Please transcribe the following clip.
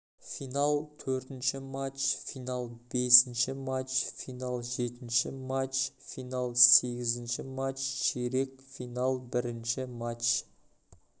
финал төртінші матч финал бесінші матч финал жетінші матч финал сегізінші матч ширек финал бірінші матч